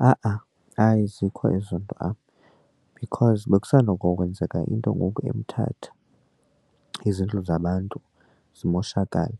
Ha-a hayi azikho ezo nto apha because bekusandokwenzeka into ngoku eMthatha izindlu zabantu zimoshakala.